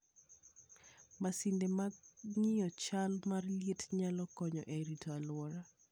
Masinde mag ng'iyo chal mar liet nyalo konyo e rito alwora.